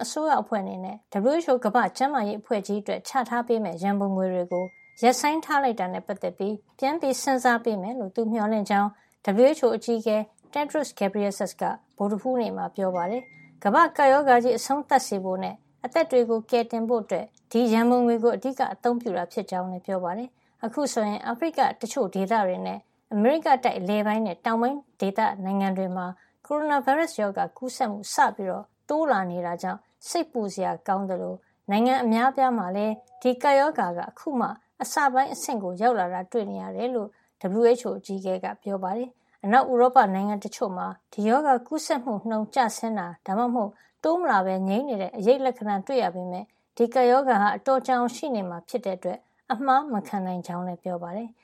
အစိုးရအဖွဲ့ အနေနဲ့ WHO ကမ္ဘာ့ကျန်းမာရေး အဖွဲ့ ကြီးအတွက် ချထားပေးမယ့် ရန်ပုံငွေတွေကို ရပ်ဆိုင်းထားလိုက်တာနဲ့ ပတ်သက်ပြီး ပြန်စဉ်းစား ပေးမယ်လို့သူ မျှော်လင့်ကြောင်း WHO အကြီးအကဲ Tedros Adhanom Ghebreyesus က ဗုဒ္ဓဟူးနေ့မှာ ပြောပါတယ်။ ကမ္ဘာ့ကပ်ရောဂါကြီး အဆုံးသတ်စေဖို့နဲ့ အသက်တွေကို ကယ်တင်ဖို့ ဒီရန်ပုံငွေကို အဓိက အသုံးပြုတာ ဖြစ်ကြောင်းလည်း ပြောပါတယ်။ အခုဆိုရင် အာဖရိက တချို့ ဒေသတွေနဲ့ အမေရိကတိုက် အလယ်ပိုင်းနဲ့တောင်ပိုင်း ဒေသ နိုင်ငံတွေမှာ ကိုရိုနာဗိုင်းရပ်စ် ရောဂါ ကူးစက်မှုစပြီး တိုးလာနေတာကြောင့် စိတ်ပူစရာ ကောင်းသလို နိုင်ငံအများအပြားမှာလည်း ဒီကပ်ရောဂါ အခုမှ အစပိုင်း အဆင့်ကို ရောက်လာတာတွေ့ နေရတယ်လို့ WHO အကြီးအကဲ က ဗုဒ္ဓဟူးနေ့ ဂျနီဗာ သတင်းစာ ရှုင်းလင်းပွဲမှာ ပြောပါတယ်။ အနောက် ဥရောပ နိုင်ငံတချို့မှာ ဒီရောဂါကူးစက်မှု နှုန်း ကျဆင်းတာ ဒါမှမဟုတ် တိုးမလာပဲ တည်ငြိမ်နေတဲ့ အရိပ်လက္ခဏာတွေ တွေ့နေရပေမယ့် ဒီကပ်ရောဂါဟာ အတော်ကြာအောင် ရှိနေမှာ ဖြစ်တဲ့ အတွက် အမှားမခံနိုင်ကြောင်းလည်း ပြောပါတယ်။